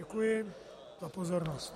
Děkuji za pozornost.